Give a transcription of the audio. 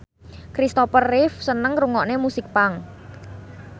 Christopher Reeve seneng ngrungokne musik punk